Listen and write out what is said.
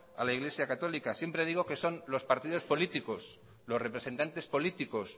a la iglesia católica siempre digo que son los partidos políticos los representantes políticos